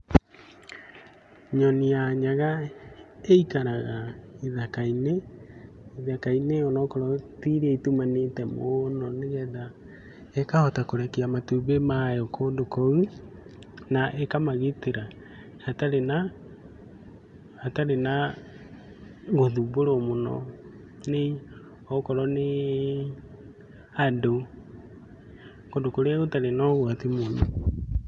Nyoni ya nyaga ĩikaraga gĩthaka-inĩ onokorwo tiiria itumanĩte mũno nĩgetha ĩkahota kũrekia matumbĩ mayo kũndũ kũu na ĩkamagitĩra hatarĩ na hatarĩ na gũthumbũrwo mũno nĩ okorwo nĩ andũ. Kũndũ kũrĩa gũtari na ũgwati mũno.